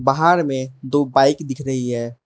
बाहर में दो बाइक दिख रही है।